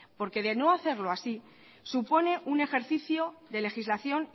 porque de no hacerlo así supone un ejercicio de legislación